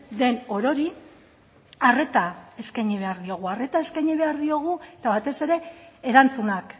den orori arreta eskaini behar diogu arreta eskaini behar diogu eta batez ere erantzunak